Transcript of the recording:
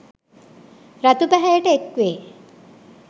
රතු පැහැයට එක්වේ